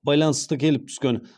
байланысты келіп түскен